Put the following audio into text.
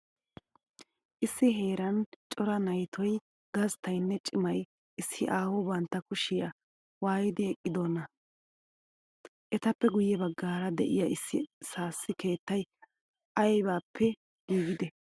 Issi heeran cora na'itoy gasttayinne cimay issi aaho bantta kushiya waaidi eqqidonaa? Etappe guyye baggaara de'iya issi sas keettay aybippe giigidee?